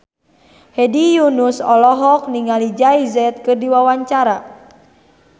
Hedi Yunus olohok ningali Jay Z keur diwawancara